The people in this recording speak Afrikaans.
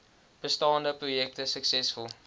bestaande projekte suksesvol